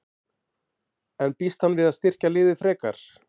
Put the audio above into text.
En býst hann við að styrkja liðið frekar?